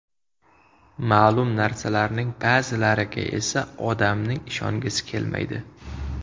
Ma’lum narsalarning ba’zilariga esa odamning ishongisi kelmaydi.